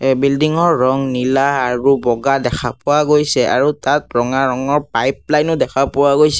এই বিল্ডিং ৰ ৰং নীলা আৰু বগা দেখা পোৱা গৈছে আৰু তাত ৰঙা ৰঙৰ পাইপ লাইন ও দেখা পোৱা গৈছে।